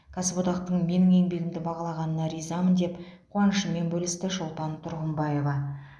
кәсіподақтың менің еңбегімді бағалағанына ризамын деп қуанышымен бөлісті шолпан тұрғымбаева